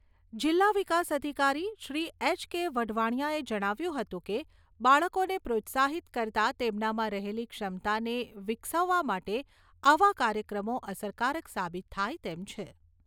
જીલ્લા વિકાસ અધિકારીશ્રી એચ . કે. વઢવાણિયાએ જણાવ્યું હતું કે બાળકોને પ્રોત્સાહિત કરતા તેમનામાં રહેલી ક્ષમતાને વિકસવા માટે આવા કાર્યક્રમો અસરકારક સાબિત થાય તેમ છે.